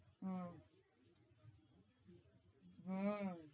হম